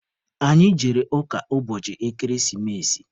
Anyị jere ụka ụbọchị ekeresimesi.